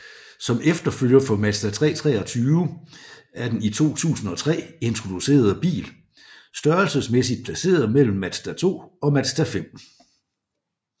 Som efterfølger for Mazda 323 er den i 2003 introducerede bil størrelsesmæssigt placeret mellem Mazda2 og Mazda5